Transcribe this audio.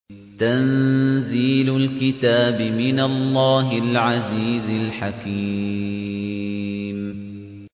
تَنزِيلُ الْكِتَابِ مِنَ اللَّهِ الْعَزِيزِ الْحَكِيمِ